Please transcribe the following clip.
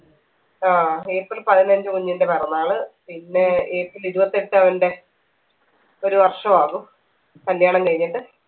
ആ ഏപ്രിൽ പതിനഞ്ച്‌ കുഞ്ഞിന്റെ പിറന്നാള് പിന്നെ ഏപ്രിൽ ഇരുപത്തെട്ട് അവന്റെ ഒരു വർഷവാകും കല്യാണം കഴിഞ്ഞിട്ട്